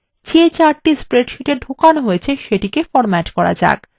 যে chartthe স্প্রেডশীটে ঢোকানো হয়েছে সেটিকে ফরম্যাট করা যাক